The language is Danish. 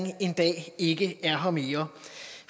en dag ikke er her mere